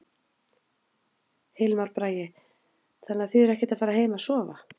Hilmar Bragi: Þannig að þið eruð ekkert að fara heim að sofa?